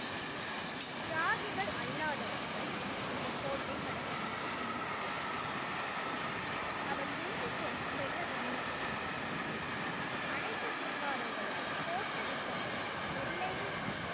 தியாகி அல்லாதவர்கள் இந்த கோட்டை கடக்க வேண்டும் என்று கூறினார். அவர் திரும்பி செல்ல விரும்புகிறார் அனைத்து சிங்காரர்களும் கோஷமிட்டபடி எல்லையைத் தாண்டி